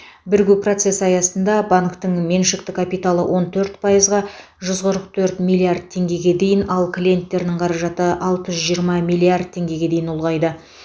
бірігу процесі аясында банктің меншікті капиталы он төрт пайызға жүз қырық төрт миллиард теңгеге дейін ал клиенттерінің қаражаты алты жүз жиырма миллиард теңгеге дейін ұлғайды